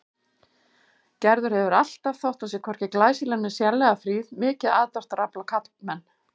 Gerður hefur alltaf, þótt hún sé hvorki glæsileg né sérlega fríð, mikið aðdráttarafl á karlmenn.